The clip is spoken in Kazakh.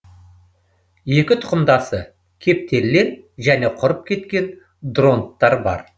екі тұқымдасы кептерлер және құрып кеткен дронттар бар